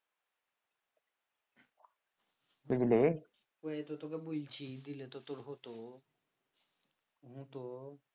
তোকে তো বলছি দিলে তো তোর হতো